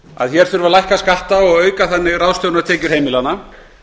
að hér þurfi að lækka skatta og þannig ráðstöfunartekjur heimilanna